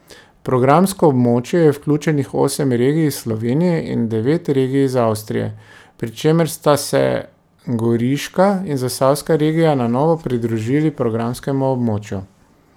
V programsko območje je vključenih osem regij iz Slovenije in devet regij iz Avstrije, pri čemer sta se Goriška in Zasavska regija na novo pridružili programskemu območju.